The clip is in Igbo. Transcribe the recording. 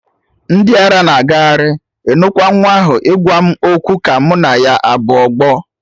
Ndị ara na agagharị, ịnụkwa nwa ahụ ịgwa m okwu ka mụ na ya abụ ọgbọ.